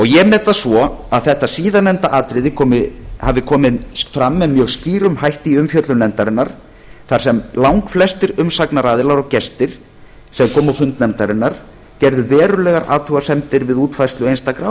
ég met það svo að þetta síðarnefnda atriði hafi komið fram með mjög skýrum hætti í umfjöllun nefndarinnar þar sem langflestir umsagnaraðilar og gestir sem komu á fund nefndarinnar gerðu verulegar athugasemdir við útfærslu einstakra